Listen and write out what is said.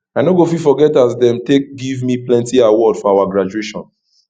i no go fit forget as dem take give me plenty award for our graduation